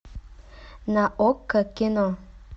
на окко кино